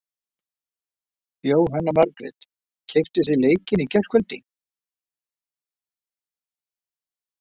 Jóhanna Margrét: Keyptuð þið leikinn í gærkvöldi?